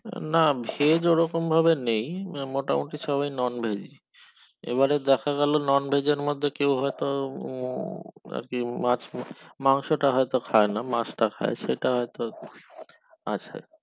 না veg ওরকম ভাবে নেই মোটামোটি সবাই non veg ই এবারে দেখে গেল non veg এর মধ্যে কেউ হয়তো আর কি মাছ মাংস মাংসটা হয়তো খাইনা মাছ খাই সেটা আছে আর কি আছে